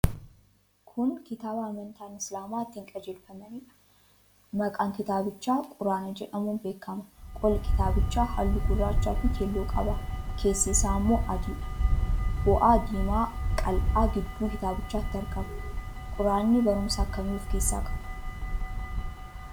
Kun kitaaba amantaan Isilaamaa ittiin qajeelfamaniidha. Maqaan kitaabichaa Quraana jedhamuun beekama. Qolli kitaabichaa halluu gurraachaafi keelloo qaba. Keessi isaa immoo adiidha. Fo'aa diimaa qal'aan gidduu kitaabichaatti argama. Quraanni barumsa akkamii of keessaa qaba?